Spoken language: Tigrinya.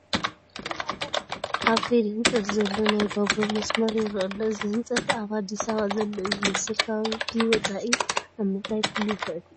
ኣብ ከይዲ ህንፀት ዘሎ ናይ ባቡር መስመር ይርአ ኣሎ፡፡ እዚ ህንፀት ኣብ ኣዲስ ኣበባ ዘሎ እዩ ዝመስል፡፡ ካብዚ ወፃኢ ኣብ ምንታይ ክህሉ ይኽእል?